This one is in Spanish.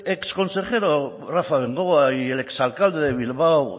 exconsejero rafa bengoa y el exalcalde de bilbao